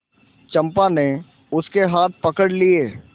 चंपा ने उसके हाथ पकड़ लिए